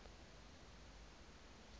station